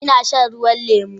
Ina shan ruwan lemu